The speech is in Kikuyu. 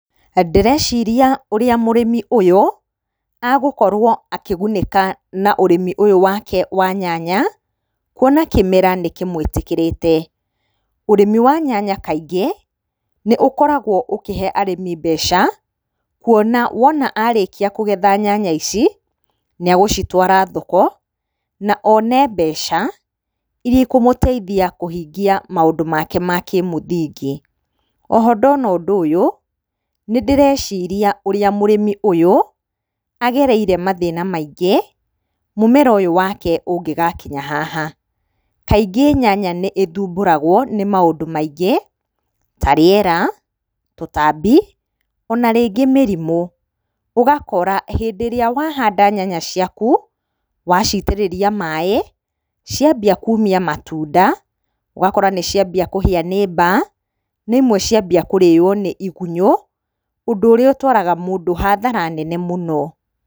Ndĩreciria ũrĩa mũrĩmi ũyũ agukorwo akĩgunĩka na ũrĩmi ũyũ wake wa nyanya kuona kĩmera nĩ kĩmũĩtĩkĩrĩte. Ũrĩmi wa nyanya kaingĩ nĩ ũkoragwo ũkĩhe arĩmi mbeca, kuona wona arĩkia kũgetha nyanya ici nĩ agũcitwara thoko, na one mbeca iria ikũmũteithia kũhingia maũndũ make ma kĩmũthingi. Oho ndona ũndũ ũyũ nĩ ndĩreciria ũrĩa mũrĩmi ũyũ agereire mathĩna maingĩ mũmera ũyũ wake ũngĩgakinya haha. Kaingĩ nyanya nĩ ĩthumbũragwo nĩ maũndũ maingĩ, ta rĩera, tũtambi ona rĩngĩ mĩrimũ, ũgakora hĩndĩ ĩrĩa wahanda nyanya ciaku, waciitĩrĩria maaĩ, ciambia kuumia matunda, ũgakora nĩ ciambia kũhia nĩ mbaa, na imwe ciambia kũrĩo nĩ igunyũ, ũndũ ũrĩa ũtwaraga mũndũ hathara nene mũno.